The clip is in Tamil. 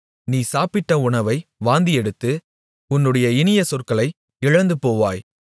நீ சாப்பிட்ட உணவை வாந்தியெடுத்து உன்னுடைய இனிய சொற்களை இழந்துபோவாய்